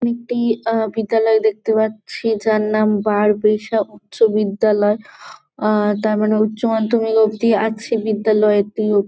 আমি একটি আহ বিদ্যালয় দেখতে পাচ্ছি । যার নাম বারবিশা উচ্চ বিদ্যালয়। আহ তার মানে উচ্চমাধ্যমিক অবধি আছে বিদ্যালয়টি উপ--